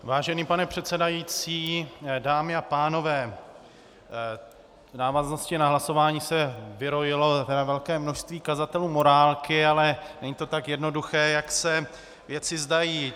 Vážený pane předsedající, dámy a pánové, v návaznosti na hlasování se vyrojilo velké množství kazatelů morálky, ale není to tak jednoduché, jak se věci zdají.